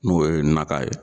N'o ye naka ye